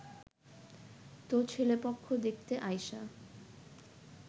তো ছেলেপক্ষ দেখতে আইসা